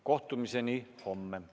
Kohtumiseni homme!